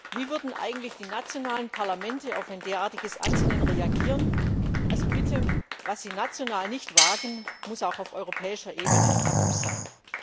Wie würden eigentlich die nationalen Parlamente auf ein derartiges Ansinnen reagieren? Also bitte, was Sie national nicht wagen, muss auch auf europäischer Ebene tabu sein!